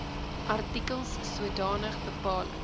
artikels sodanige bepaling